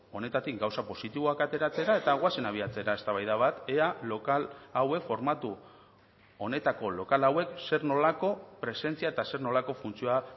honetatik gauza positiboak ateratzera eta goazen abiatzera eztabaida bat ea lokal hauek formatu honetako lokal hauek zer nolako presentzia eta zer nolako funtzioa